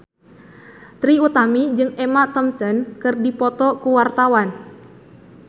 Trie Utami jeung Emma Thompson keur dipoto ku wartawan